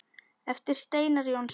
eftir Steinar Jónsson